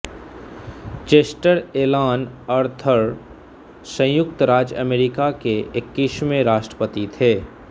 Chester Alan Arthur संयुक्त राज्य अमरीका के इक्कीसवें राष्ट्रपति थे